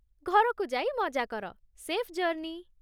ଘରକୁ ଯାଇ ମଜା କର, ସେଫ୍ ଜର୍ଣ୍ଣି ।